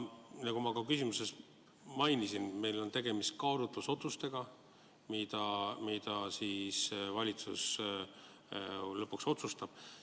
Nagu ma oma küsimuses mainisin, on meil tegemist kaalutlusotsusega, mille valitsus lõpuks langetab.